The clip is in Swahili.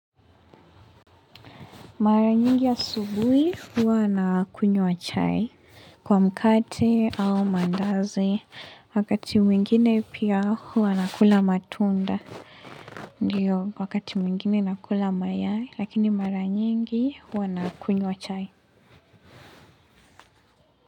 Mara nyingi asubuhi hua nakunywa chai kwa mkate au mandazi wakati mwingine pia huwa nakula matunda ndio wakati mwingine nakula mayai lakini mara nyingi huwa nakunywa chai.